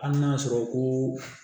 Hali n'a y'a sɔrɔ ko